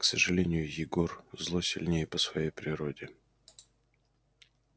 к сожалению егор зло сильнее по своей природе